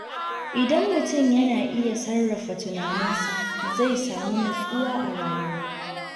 Idan mutum yana iya sarrafa tunaninsa, zai samu nutsuwa a rayuwa.